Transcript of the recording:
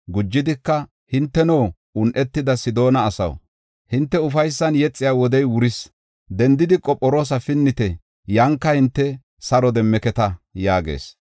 Gujidika, “Hinteno, un7etida Sidoona asaw, hinte ufaysan yexiya wodey wuris. Dendidi Qophiroosa pinnite; yanka hinte saro demmeketa” yaagis.